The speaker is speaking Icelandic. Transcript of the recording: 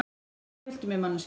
Hvað viltu mér, manneskja?